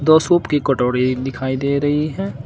दो शूप की कटोरी दिखाई दे रही है।